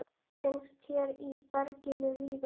Finnst hér í berginu víða.